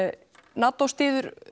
NATO styður